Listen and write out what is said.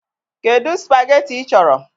Kedụ spageetí ị chọrọ?